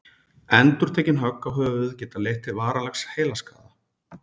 endurtekin högg á höfuðið geta leitt til varanlegs heilaskaða